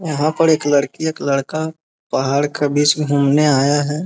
यहां पर एक लड़की एक लड़का पहाड़ का बीच मे घूमने आया है।